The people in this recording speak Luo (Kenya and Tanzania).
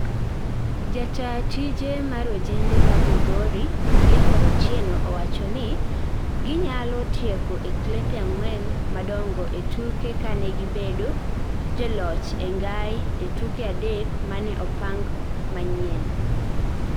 jataa ta tije mar ojende mar migori Clifford Otieno owachoni gi nyalo tieko e klepe angwen madongo e tuke kane gi bedo joloch e ngai e tuke adek mane opang manyien